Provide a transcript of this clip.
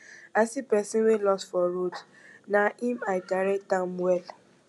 i see pesin wey loss for road na im i direct am well